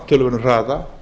töluverðum hraða